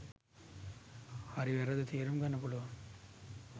හරි වැරැද්ද තේරුම් ගන්න පුළුවන්